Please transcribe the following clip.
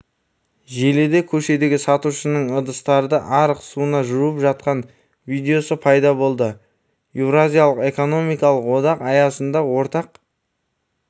желіде көшедегі сатушының ыдыстарды арық суына жуып жатқан видеосы пайда болды еуразиялық экономикалық одақ аясында ортақ